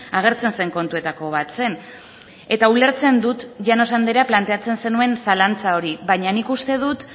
agertzen zen kontuetako bat zen eta ulertzen dut llanos andrea planteatzen zenuen zalantza hori baina nik uste dut